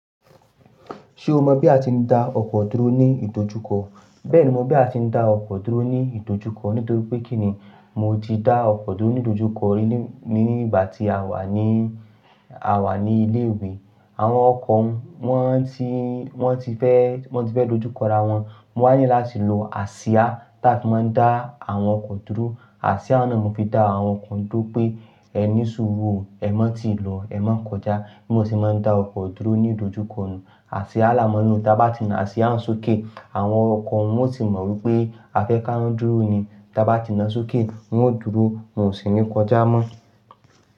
Ṣé o mọ bí a ti ń da ọkọ dúró ní ìdojúkọ? Bẹ́ẹ̀ni, mo mọ bí a ti ń da ọkọ dúró ní ìdojúkọ nítorí pé kíni mo ti dá ọkọ dúró ní ìdojúkọ rí ní ìgbà tí a wà ní, a wà ní ilé ìwé. Àwọn ọkọ wọn tí, wọ́n ti fẹ́, wọ́n ti fẹ́ dojúkọ ra wọn. Mo wá ni láti lo awon àsíá tá a ti máa ń dá àwọn ọkọ dúró. Àsíá náà mo fi dá àwọn ọkọ dúró pé ẹ ní súrú o, ẹ má ti lọ, ẹ má kọjá. Bí mo ṣe máa ń dá ọkọ dúró ní ìdojúkọ nù. Àsíá làá mọ́ nlo táa bá ti na àsíá ń sókè àwọn ọkọ wọn ó ti mọ̀ wípé a fẹ́ ká wọn dúró ni. Táa bá ti na sókè wọn ó dúró, wọn ò sì ní kọjá mọ́.